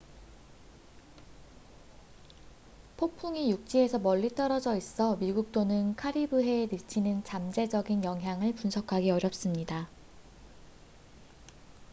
폭풍이 육지에서 멀리 떨어져 있어 미국 또는 카리브해에 미치는 잠재적인 영향을 분석하기 어렵습니다